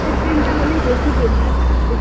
Train -টা হলে বেশি Better